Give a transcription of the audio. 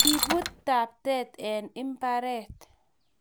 Kibut taptet eng mbaret